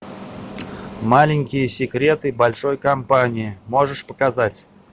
маленькие секреты большой компании можешь показать